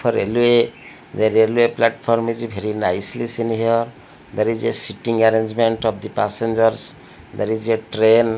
for railway the railway platform is very nicely seen here there is a sitting arrangement of the passengers there is a train.